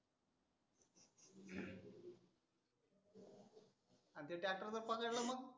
आनं ते ट्रॅक्टर जर पकडलं मग.